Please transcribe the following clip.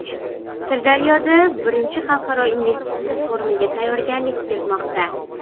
Sirdaryoda I Xalqaro investitsiya forumiga tayyorgarlik ketmoqda.